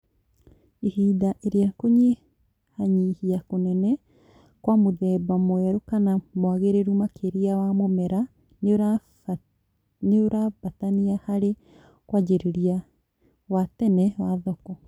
Hĩndĩ ĩrĩa kũnyihanyihia kũnene Kwa mũthemba mwerũ kama mwagĩrĩru makĩria wa mũmera nĩurabatania harĩ kwanjĩrĩria wa tene wa thoko